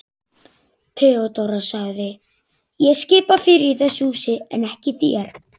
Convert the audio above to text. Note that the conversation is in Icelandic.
THEODÓRA: Ég skipa fyrir í þessu húsi en ekki þér.